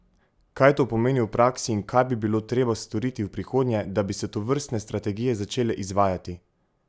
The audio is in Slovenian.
Kaj to pomeni v praksi in kaj bi bilo treba storiti v prihodnje, da bi se tovrstne strategije začele izvajati?